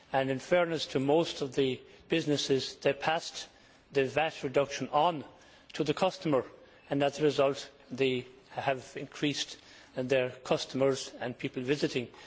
In fairness to most of the businesses, they passed the VAT reduction on to the customer and as a result they have increased their customers and the number of people visiting.